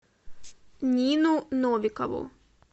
нину новикову